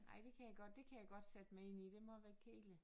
Ej det kan jeg godt det kan jeg godt sætte mig ind i det må være kedeligt